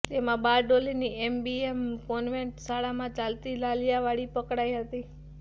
તેમાં બારડોલીની MBM convent શાળામાં ચાલતી લાલિયાવાડી પકડાઇ હતી